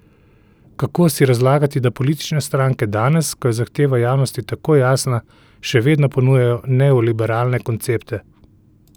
Kako si razlagati, da politične stranke danes, ko je zahteva javnosti tako jasna, še vedno ponujajo neoliberalne koncepte?